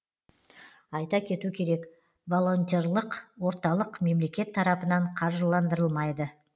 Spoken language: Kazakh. айта кету керек волонтерлық орталық мемлекет тарапынан қаржыландырылмайды